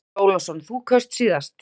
Andri Ólafsson: Þú kaust síðast?